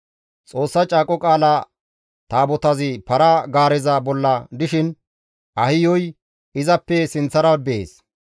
Xoossa Caaqo Qaala Taabotazi para-gaareza bolla dishin Ahiyoy izappe sinththara bees.